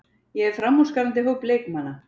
Ég hef framúrskarandi hóp leikmanna.